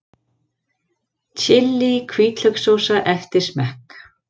Chili hvítlaukssósa eftir smekk